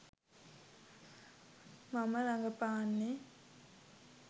මම රඟපාන්නේ